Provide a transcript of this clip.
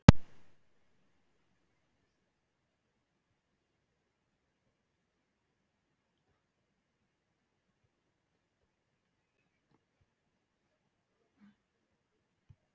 Myndi svona gerast í Englandi?